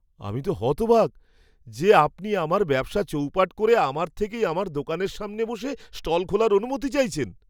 আমি তো হতবাক যে আপনি আমার ব্যবসা চৌপাট করে আমার থেকেই আমার দোকানের সামনে বসে স্টল খোলার অনুমতি চাইছেন!